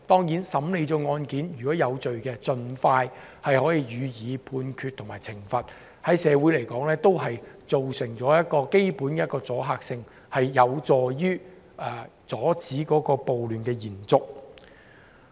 就審理的案件而言，如果當事人有罪，可以盡快判決及懲罰，可以在社會形成阻嚇性，有助阻止暴亂的延續。